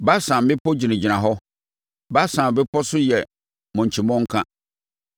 Basan mmepɔ gyinagyina hɔ, Basan mmepɔ so yɛ mmɔnkyi mmɔnka.